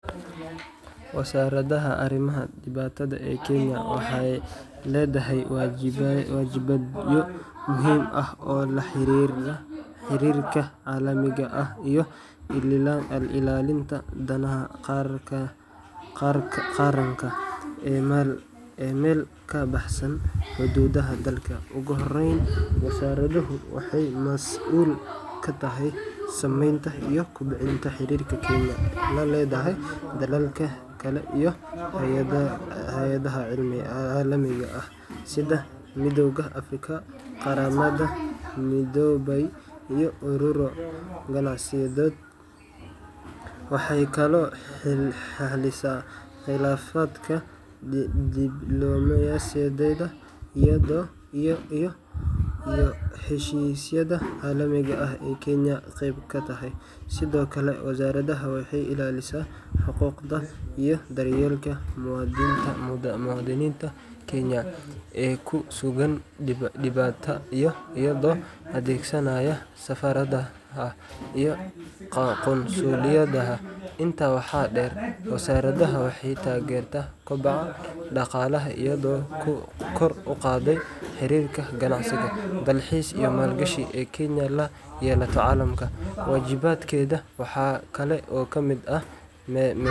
Wasaaradda Arrimaha Dibadda ee Kenya waxay leedahay waajibaadyo muhiim ah oo la xiriira xiriirka caalamiga ah iyo ilaalinta danaha qaranka ee meel ka baxsan xuduudaha dalka. Ugu horreyn, wasaaraddu waxay mas'uul ka tahay sameynta iyo kobcinta xiriirka Kenya la leedahay dalalka kale iyo hay’adaha caalamiga ah sida Midowga Afrika, Qaramada Midoobay, iyo ururo ganacsiyeedyo. Waxay kaloo xallisaa khilaafaadka diblomaasiyadeed iyo heshiisyada caalamiga ah ee Kenya qayb ka tahay. Sidoo kale, wasaaraddu waxay ilaalisaa xuquuqda iyo daryeelka muwaadiniinta Kenya ee ku sugan dibedda iyadoo adeegsaneysa safaaradaha iyo qunsuliyadaha. Intaa waxaa dheer, wasaaraddu waxay taageertaa koboca dhaqaalaha iyadoo kor u qaadaysa xiriirka ganacsi, dalxiis iyo maalgashi ee Kenya la yeelato caalamka. Waajibaadkeeda waxaa kale oo ka mid ah.